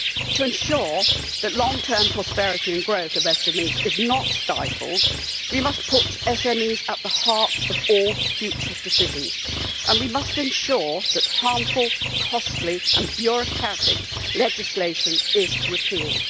To ensure that the long term prosperity and growth of SMEs is not stifled, we must put SMEs at the heart of all future decisions and we must ensure that harmful, costly and bureaucratic legislation is repealed.